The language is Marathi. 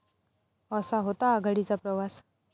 असा होता आघाडीचा प्रवास